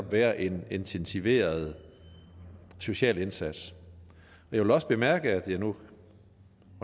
være en intensiveret social indsats og jeg vil også bemærke at jeg nu